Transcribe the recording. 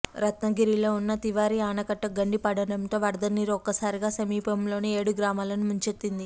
రత్నగిరిలో ఉన్న తివారీ ఆనకట్టుకు గండి పడడంతో వరదనీరు ఒక్కసారిగా సమీపంలోని ఏడు గ్రామాలను ముంచెత్తింది